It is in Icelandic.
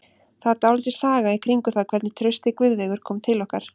Það er dálítil saga í kringum það hvernig Trausti Guðveigur kom til okkar.